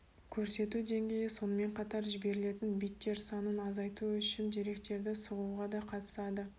көрсету деңгейі сонымен қатар жіберілетін биттер санын азайту үшін деректерді сығуға да қатысады